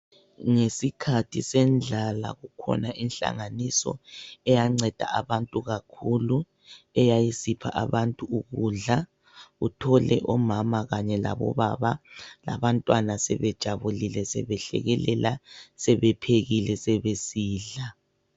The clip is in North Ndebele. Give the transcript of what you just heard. Ngesikhathi sendlala kukhona inhlanganiso eyanceda abantu kakhulu, eyayisipha abantu ukudla uthole omama kanye labo baba labantwana sebejabulile, sebehlekelela sebephekile sebesidla.